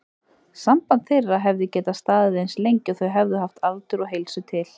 Samband þeirra hefði getað staðið eins lengi og þau hefðu haft aldur og heilsu til.